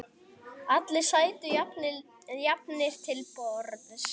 Allir sætu jafnir til borðs.